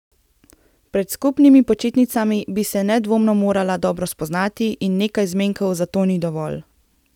Pred skupnimi počitnicami bi se nedvomno morala dobro spoznati in nekaj zmenkov za to ni dovolj.